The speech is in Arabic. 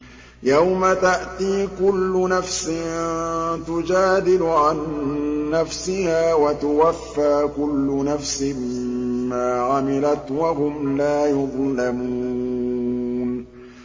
۞ يَوْمَ تَأْتِي كُلُّ نَفْسٍ تُجَادِلُ عَن نَّفْسِهَا وَتُوَفَّىٰ كُلُّ نَفْسٍ مَّا عَمِلَتْ وَهُمْ لَا يُظْلَمُونَ